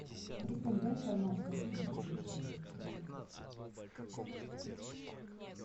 ассистент дай информацию какие здесь развлечения есть в отеле